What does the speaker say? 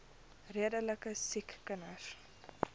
redelike siek kinders